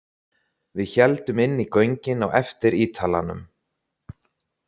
Við héldum inn í göngin á eftir Ítalanum.